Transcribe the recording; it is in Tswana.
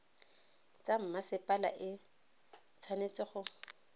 tsa mmasepala e tshwanetse go